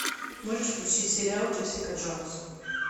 можешь включить сериал джессика джонс